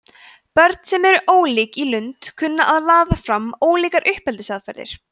börn sem eru ólík í lund kunna að laða fram ólíkar uppeldisaðferðir